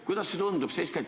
Kuidas see tundub?